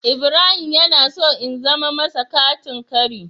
Ibrahim yana so in zana masa katin kari.